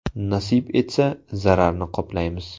Nasib etsa, zararni qoplaymiz.